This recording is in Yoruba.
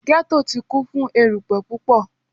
Ghetto ti kun fun erupẹ pupọ